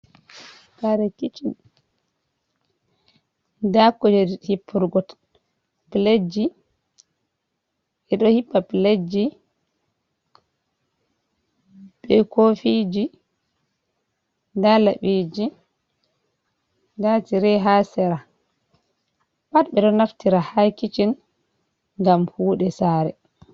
Kare kicin, daa kujeji hippurgo pileji ɓe ɗo hippa piletji, bee koofiji, daa laɓiiji, daa tire ha seera. Pat ɓe ɗo naftira ha kicin gam kuuɗe saare.